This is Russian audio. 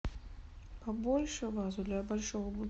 побольше вазу для большого